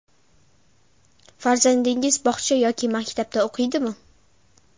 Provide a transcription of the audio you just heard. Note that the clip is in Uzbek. Farzandingiz bog‘cha yoki maktabda o‘qiydimi?